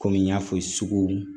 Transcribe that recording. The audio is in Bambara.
Kɔmi n y'a fɔ suguw